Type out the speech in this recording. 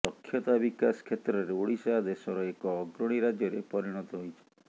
ଦକ୍ଷତା ବିକାଶ କ୍ଷେତ୍ରରେ ଓଡ଼ିଶା ଦେଶର ଏକ ଅଗ୍ରଣୀ ରାଜ୍ୟରେ ପରିଣତ ହୋଇଛି